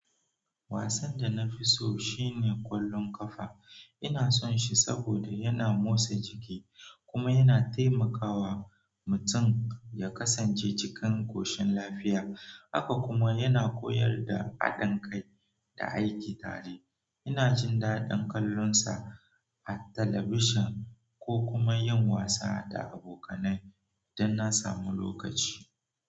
Wasan da na fi so shine ƙwallon ƙafa. Ina son shi saboda yana motsa jiki kuma yana taimakawa mutum ya kasance cikin ƙoshin lafiya. Haka kuma yana koyar da haɗin kai da aiki tare. Ina jin daɗin kallonsa a television ko kuma yin wasa da abokanai idan na samu lokaci.